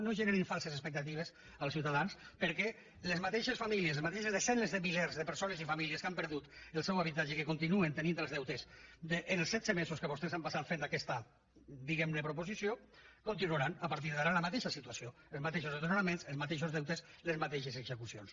no generin falses expectatives als ciutadans perquè les mateixes famílies les mateixes desenes de milers de persones i famílies que han perdut el seu habitatge i que continuen tenint els deutes els setze mesos que vostès han passat fent aquesta diguem ne proposició continuaran a partir d’ara en la mateixa situació els mateixos desnonaments els mateixos deutes les mateixes execucions